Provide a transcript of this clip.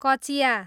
कचियाँ